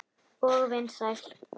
Og vinsæl.